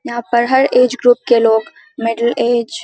यहां पर हर ऐज ग्रुप के लोग मिडिल ऐज --